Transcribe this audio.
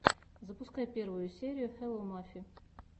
запускай первую серию хелло мафи